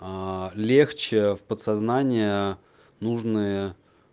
аа легче в подсознание нужные